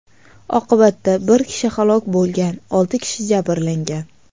Oqibatda bir kishi halok bo‘lgan, olti kishi jabrlangan.